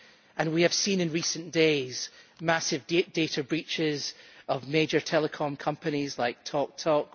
And we have seen in recent days massive data breaches of major telecom companies like Talk Talk.